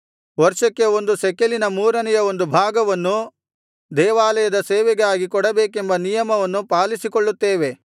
ವರ್ಷಕ್ಕೆ ಒಂದು ಶೆಕೆಲಿನ ಮೂರನೆಯ ಒಂದು ಭಾಗವನ್ನು ದೇವಾಲಯದ ಸೇವೆಗಾಗಿ ಕೊಡಬೇಕೆಂಬ ನಿಯಮವನ್ನು ಪಾಲಿಸಿಕೊಳ್ಳುತ್ತೇವೆ